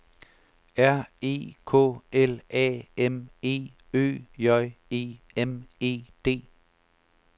R E K L A M E Ø J E M E D